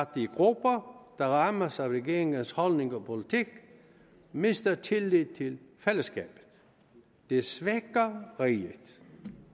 de grupper der rammes af regeringens holdning og politik mister tilliden til fællesskabet det svækker riget